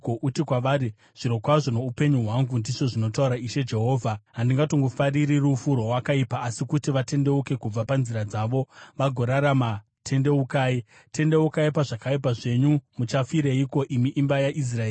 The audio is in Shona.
Uti kwavari, ‘Zvirokwazvo noupenyu hwangu, ndizvo zvinotaura Ishe Jehovha, handitongofariri rufu rwowakaipa, asi kuti vatendeuke kubva panzira dzavo vagorarama. Tendeukai! Tendeukai pazvakaipa zvenyu! Muchafireiko, imi imba yaIsraeri?’